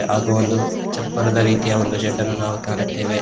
ಹಾಗು ಒಂದು ಚಪ್ಪರದ ರೀತಿಯ ಒಂದು ಶೆಡ್ಡನ್ನು ನಾವು ಕಾಣುತ್ತೇವೆ.